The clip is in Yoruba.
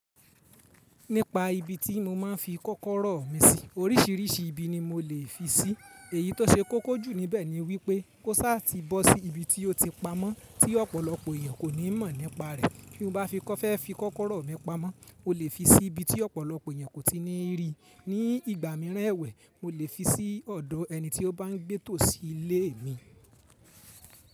Nípa ibi tí mo máa ń fi kọ́kọ́rọ́ mi sí, oríṣiríṣi ibi ni mo lè fi sí. Èyí tó ṣe kọ́kọ́ jù níbẹ̀ ni wípé kó sá ti bọ́ sí ibi tí ó ti pamọ́ tí ọ̀pọ̀lọpọ̀ èèyàn kò ní mọ̀ nípa rẹ̀. Kí mo bá fẹ́ fi kọ́kọ́rọ́ mi pamọ́, mo lè fi sí ibi tí ọ̀pọ̀lọpọ̀ èèyàn kò ti ní rí. Ni ìgbà mìíràn ẹwẹ̀, mo lè fi sí ọ̀dọ̀ ẹni tí ó bá ń gbé tòsí ilé mi.